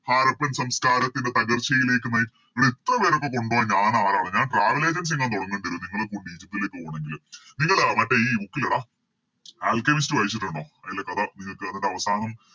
ഹാരപ്പൻ സംസ്ക്കാരത്തിൻറെ തകർച്ചയിലേക്ക് നയി എടാ ഇത്രപേരൊക്കെ കൊണ്ടോവാൻ ഞാനാരടാ ഞാൻ Travel agency എങ്ങാൻ തൊടങ്ങേണ്ടേരും നിങ്ങളെ കൂട്ടി ഈജിപ്തിലേക്ക് പോണെങ്കില് നിങ്ങള് അഹ് മറ്റേ ഈ Book ഇല്ലെടാ ആൽക്കെമിസ്റ്റ് വായിച്ചിട്ടുണ്ടോ അയിലെ കഥ നിങ്ങക്ക് അതിൻറെ അവസാനം